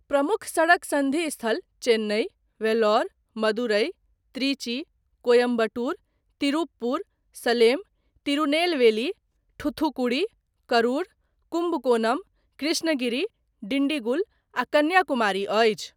प्रमुख सड़क सन्धि स्थल चेन्नई, वेल्लोर, मदुरै, त्रिची, कोयम्बटूर, तिरुपपुर, सलेम, तिरुनेलवेली, ठूथुकुडी, करुर, कुम्बकोनम, कृष्णगिरी, डिंडीगुल आ कन्याकुमारी अछि।